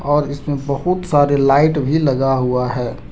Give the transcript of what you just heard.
और इसमें बहुत सारे लाइट भी लगा हुआ है।